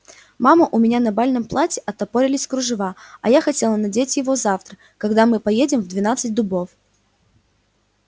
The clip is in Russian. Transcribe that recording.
мама у меня на бальном платье отпоролись кружева а я хотела надеть его завтра когда мы поедем в двенадцать дубов